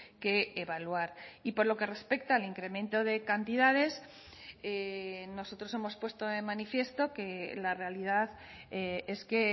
que evaluar y por lo que respecta al incremento de cantidades nosotros hemos puesto de manifiesto que la realidad es que